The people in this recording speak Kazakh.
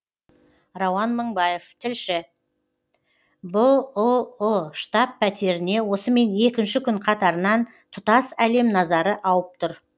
рауан мыңбаев тілші бұұ штаб пәтеріне осымен екінші күн қатарынан тұтас әлем назары ауып тұр